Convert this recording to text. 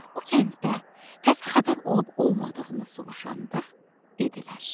O kəndə təzə xəbər olub olmadığını soruşanda dedilər.